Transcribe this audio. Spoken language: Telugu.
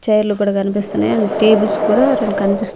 చైర్లు కూడా కనిపిస్తున్నాయ్ అండ్ టేబుల్స్ కూడా రెండు కనిపిస్సు--